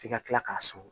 F'i ka kila k'a sɔn